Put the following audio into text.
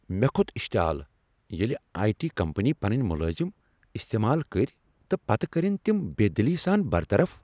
مےٚ کھوٚت اشتعال ییٚلہ آیی ٹی کمپنی پنٕنۍ ملازم استعمال کٔرۍ تہٕ پتہٕ کٔرنۍ تم بےٚ دلی سان برطرف